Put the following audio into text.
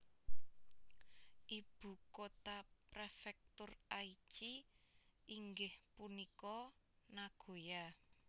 Ibu kota Prefektur Aichi inggih punika Nagoya